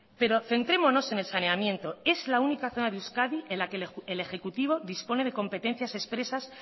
pero centrémonos en el saneamiento es la única zona de euskadi en la que el ejecutivo dispone de competencias expresas